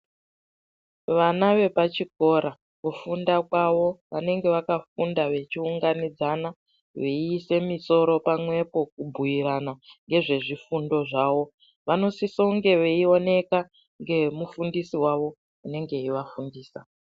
Vana vepachikora kufunda kwavo vanenge vakafunda vechiunganidzana, veiise misoro pamwepo kubhuyirana ngezvezvifundo zvawo. Vanosisonge veioneka ngemufundisi wavo anenge eyivafundisa.